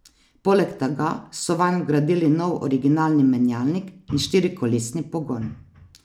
Poleg tega so vanj vgradili nov originalni menjalnik in štirikolesni pogon.